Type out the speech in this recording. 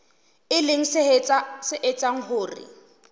e leng se etsang hore